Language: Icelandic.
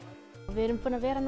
við erum búin að vera